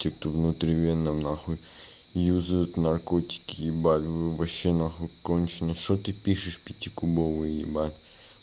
те кто внутривенно нахуй употребляют наркотики ебать вообще нахуй конченый что ты пишешь пятикубовый ебать